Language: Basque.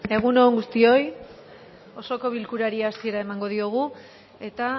egun on guztioi osoko bilkurari hasiera emango diogu eta